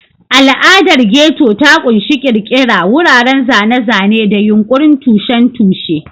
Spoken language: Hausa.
Al'adar Ghetto ta ƙunshi ƙirƙira, wuraren zane-zane, da yunƙurin tushen tushe.